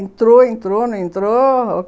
Entrou, entrou, não entrou.